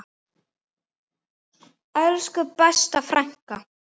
Elsku besta frænka.